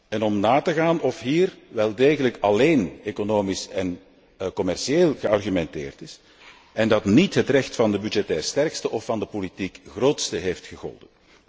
en om na te gaan of hier wel degelijk alleen economisch en commercieel geargumenteerd is en dat niet het recht van de budgettair sterkste of van de politiek grootste heeft gegolden.